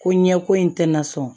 Ko ɲɛko in tɛ na sɔn